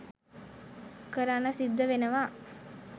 කරන්න සිද්ධ වෙනවා.